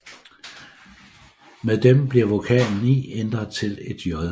Med dem bliver vokalen i ændret til et j